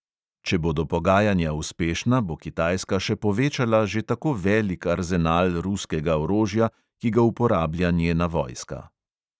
Če bodo pogajanja uspešna, bo kitajska še povečala že tako velik arzenal ruskega orožja, ki ga uporablja njena vojska.